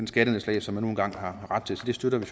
skattenedslag som man nu engang har ret til så det støtter vi